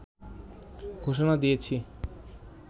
ঘোষণা দিয়েছি